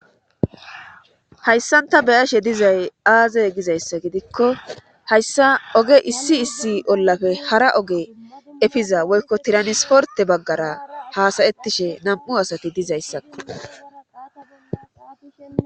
hayssan ta be'ashe dizay aazey gizayssa gidikko hayssa oge issi issi ollafe hara oge efiza woykko tiranisporte baggara haasayettishe nam'u asati dizayissakko